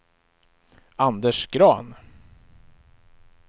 Anders Grahn